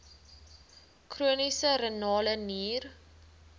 chroniese renale nier